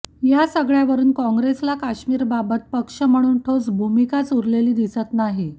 या सगळ्यावरून कॉंग्रेसला काश्मीरबाबत पक्ष म्हणून ठोस भूमिकाच उरलेली दिसत नाही